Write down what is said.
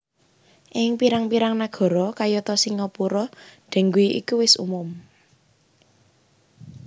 Ing pirang pirang nagara kayata singapura dengue iku wis umum